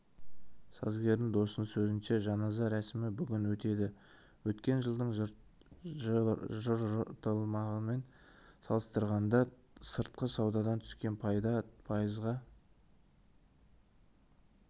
сазгердің досының сөзінше жаназа рәсімі бүгін өтеді өткен жылдың жартыжылдығымен салыстырғанда сыртқы саудадан түскен пайда пайызға